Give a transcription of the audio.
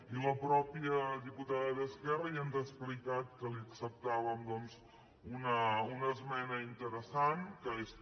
i la mateixa diputada d’esquerra ja ens ha explicat que li acceptà·vem doncs una esmena interessant que és que